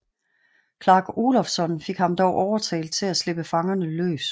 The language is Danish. Clark Olofsson fik dog overtalt ham til at slippe fangerne løs